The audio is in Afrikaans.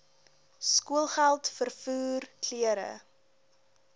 skoolgeld vervoer klere